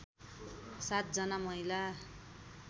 ७ जना महिला